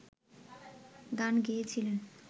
গান গেয়েছিলেন